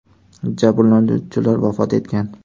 Jabrlanuvchilar vafot etgan.